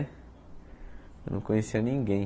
Eu não conhecia ninguém.